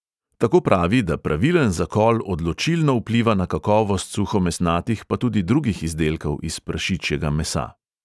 Tako pravi, da pravilen zakol odločilno vpliva na kakovost suhomesnatih pa tudi drugih izdelkov iz prašičjega mesa.